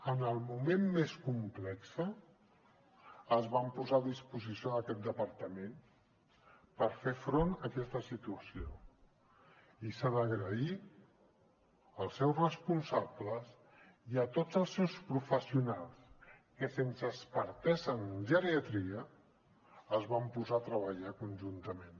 en el moment més complex es van posar a disposició d’aquest departament per fer front a aquesta situació i s’ha d’agrair als seus responsables i a tots els seus professionals que sense expertesa en geriatria es van posar a treballar conjuntament